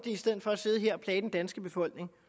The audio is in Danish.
i stedet for at sidde her og plage den danske befolkning